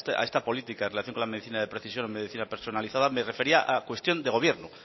a esta política en relación con la medicina de precisión medicina personalizada me refería a cuestión de gobierno